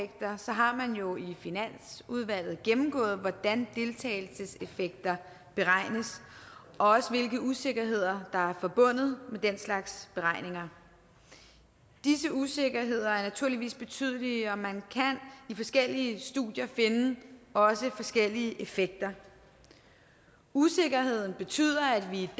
har man jo i finansudvalget gennemgået hvordan deltagelseseffekter beregnes og også hvilke usikkerheder der er forbundet med den slags beregninger disse usikkerheder er naturligvis betydelige og man kan i forskellige studier også finde forskellige effekter usikkerheden betyder at vi